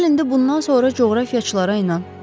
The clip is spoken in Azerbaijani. Gəl indi bundan sonra coğrafiyaçılara inan.